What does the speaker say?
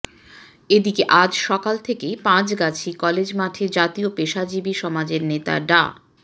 এদিকে আজ সকাল থেকেই পাঁচগাছি কলেজ মাঠে জাতীয় পেশাজীবী সমাজের নেতা ডা